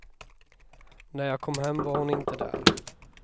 När jag kom hem var hon inte där.